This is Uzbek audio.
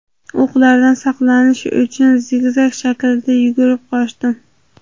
O‘qlardan saqlanish uchun zigzag shaklida yugurib qochdim”.